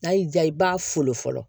N'a y'i diya i b'a fo fɔlɔ